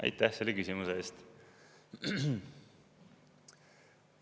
Aitäh selle küsimuse eest!